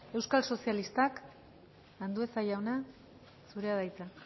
euskal sozialistak andueza jauna zurea da hitza